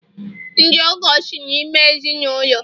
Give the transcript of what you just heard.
ndị ọgọ so n'ime ezi n' ụlọ